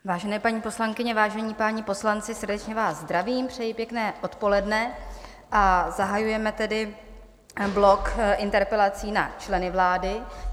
Vážené paní poslankyně, vážení páni poslanci, srdečně vás zdravím, přeji pěkné odpoledne, a zahajujeme tedy blok interpelací na členy vlády.